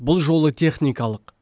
бұл жолы техникалық